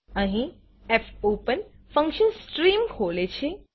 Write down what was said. અહી fopen function stream ખોલે છે